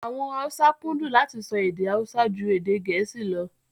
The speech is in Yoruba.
Àwọn Haúsá kúndùn láti sọ èdè Haúsá ju Gẹ̀ẹ́sì lọ